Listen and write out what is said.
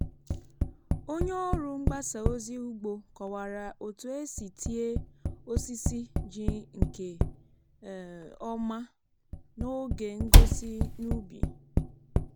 onye ọrụ mgbasa ozi ugbo kọwara otu esi tie osisi ji nke um ọma n’oge ngosi n’ubi.